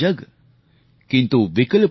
सीखचों में सिमटा जग